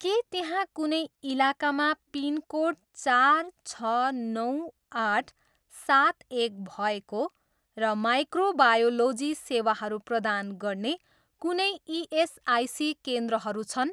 के त्यहाँ कुनै इलाकामा पिनकोड चार छ नौ आठ सात एक भएको र माइक्रोबायोलोजी सेवाहरू प्रदान गर्ने कुनै इएसआइसी केन्द्रहरू छन्।